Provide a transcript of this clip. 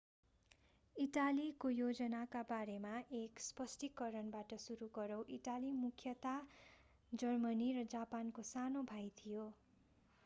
इटालीको योजनाका बारेमा एक स्पष्टीकरणबाट सुरू गरौं इटाली मुख्यतया जर्मनी र जापानको सानो भाई थियो